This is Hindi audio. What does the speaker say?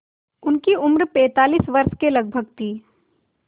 उनकी उम्र पैंतालीस वर्ष के लगभग थी